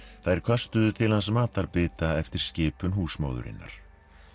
þær köstuðu til hans matarbita eftir skipun húsmóðurinnar